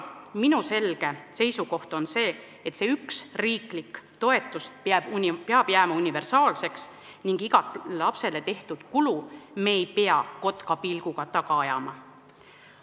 Minu selge seisukoht on selline, et see üks riiklik toetus peab jääma universaalseks ning iga lapsele tehtud kulu me ei pea kotkapilguga taga ajama.